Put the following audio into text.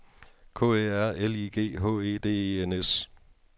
K Æ R L I G H E D E N S